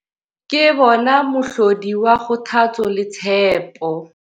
Ke bona mohlodi wa kgothatso le tshepo.